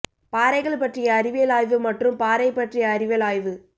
பாறைகள் பற்றிய அறிவியல் ஆய்வு மற்றும் பாறை பற்றிய அறிவியல் ஆய்வு